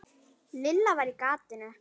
Lilla var á gatinu.